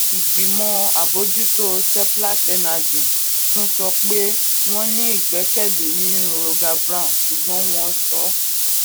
ìgbìmọ àbójútó seplat energy tún sọ pé wọn ní ìgbẹkẹlé ìgbẹkẹlé nínú roger brown ṣùgbọn wón sọ